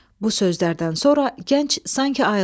Bu sözlərdən sonra gənc sanki ayıldı.